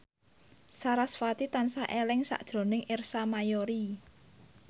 sarasvati tansah eling sakjroning Ersa Mayori